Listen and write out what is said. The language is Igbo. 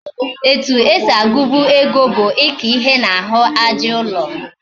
Etu esi agubu ego bu Ika ihe na ahu aja ulo